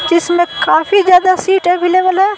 जिसमें काफी ज्यादा सीट अवेलेबल है।